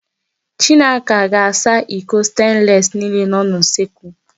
Chinaka ga-asa iko stenlesi niile nọ n'usekwu.